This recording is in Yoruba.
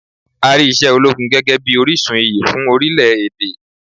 A rí iṣẹ́ ológun gẹ́gẹ́ bíi orísun iyì fún orílẹ̀ èdè.